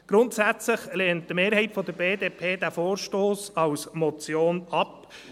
Grundsätzlich lehnt die Mehrheit der BDP den Vorstoss als Motion ab.